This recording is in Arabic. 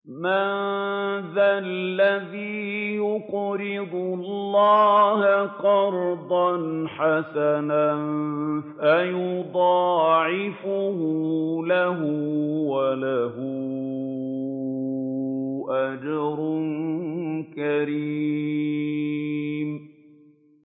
مَّن ذَا الَّذِي يُقْرِضُ اللَّهَ قَرْضًا حَسَنًا فَيُضَاعِفَهُ لَهُ وَلَهُ أَجْرٌ كَرِيمٌ